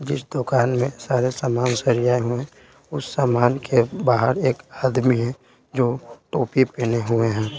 जिस दुकान में सारे सामान सरियाए हुए हैं उस सामान के बाहर एक आदमी है जो टोपी पहने हुए हैं।